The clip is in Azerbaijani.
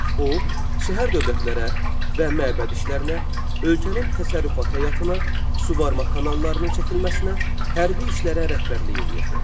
O şəhər dövlətlərə və məbəd işlərinə, ölkənin təsərrüfat həyatına, suvarma kanallarının çəkilməsinə, hərbi işlərə rəhbərlik eləyirdi.